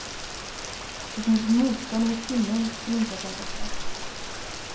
Det finns ett motstånd mot kvinnor som inte är perfekta.